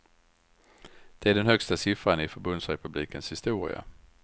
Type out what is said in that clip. Det är den högsta siffran i förbundsrepublikens historia.